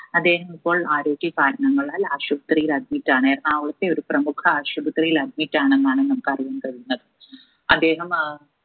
അദ്ദേഹം ഇപ്പോൾ ആരോഗ്യ കാരണങ്ങളാൽ ആശുപത്രിയിൽ admit ആണ് എറണാകുളത്തെ ഒരു പ്രമുഖ ആശുപത്രിയിൽ admit ആണെന്നാണ് നമുക്ക് അറിയാൻ കഴിഞ്ഞത് അദ്ദേഹം ആഹ്